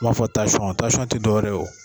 I b'a fɔ tansɔn, tansɔn tɛ dɔ wɛrɛ yew.